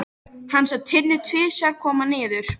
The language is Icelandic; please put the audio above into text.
Hann sá Tinnu tvisvar koma niður.